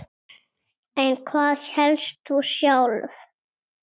En hvað hélst þú sjálf?